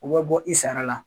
O be bɔ i sara la